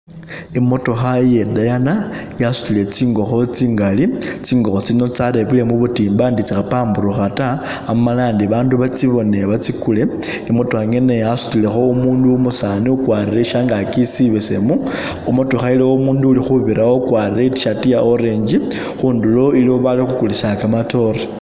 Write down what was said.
I'motookha ye dayana, yasutile tsingokho tsingali, tsingokho tsino tsarebwele mubutimba ndi tsi khapaburukha ta amala ndi bandu batsibone batsikule, i'motookha ngene yasutilekho umundu umusani u'kwarire shangaki sibesemu, a'motookha iliwo mundu uli khubirawo u'kwarire e't-shirt ya orange khundulo iliwo Bali khukulisa kamatoore